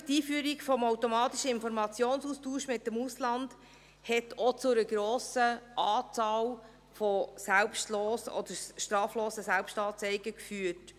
Natürlich, die Einführung des automatischen Informationsaustauschs mit dem Ausland hat auch zu einer grossen Anzahl an straflosen Selbstanzeigen geführt.